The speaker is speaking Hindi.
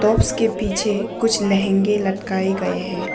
उसके पीछे कुछ लहंगे लटकाए गए हैं।